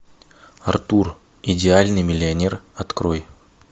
артур идеальный миллионер открой